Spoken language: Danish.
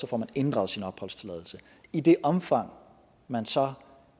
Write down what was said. får inddraget sin opholdstilladelse i det omfang man så